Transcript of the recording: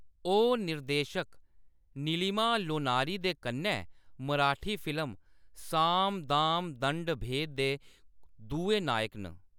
ओह्‌‌ निर्देशक नीलिमा लोनारी दे कन्नै मराठी फिल्म 'साम दाम दंड भेद' दे दुए नायक न।